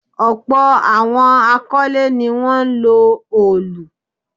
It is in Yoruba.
Ọ̀pọ̀ àwọn akọ́lé ní wọ́n ń lo òlù.